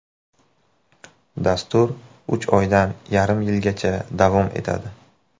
Dastur uch oydan yarim yilgacha davom etadi.